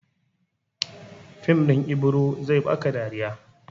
Fim ɗin Ibiro zai ba ka dariya.